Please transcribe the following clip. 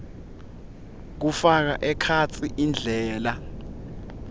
kufaka ekhatsi indlela